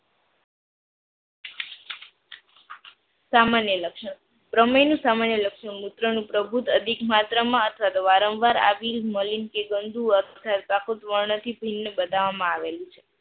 સામાન્ય લક્ષણ, પ્રમેય નું સામાન્ય લક્ષણ મૂત્ર નું પ્રભુત અધિક માત્રા માં અથવા વારંવાર આવી કે મલી કે ગંદુ યકૃત વર્ણન થી ભિન્ન બતાવામાં આવેલું છે.